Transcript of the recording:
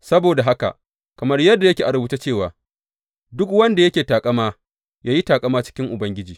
Saboda haka, kamar yadda yake a rubuce cewa, Duk wanda yake taƙama, ya yi taƙama a cikin Ubangiji.